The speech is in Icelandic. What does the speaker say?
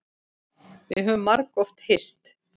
Við höfum margoft hist.